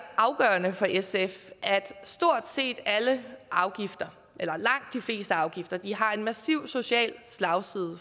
afgørende for sf at stort set alle afgifter eller langt de fleste afgifter har en massiv social slagside